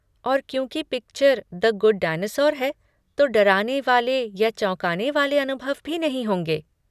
और क्योंकि picture the good dinosaur है, तो डराने वाले या चौंकाने वाले अनुभव भी नहीं होंगे।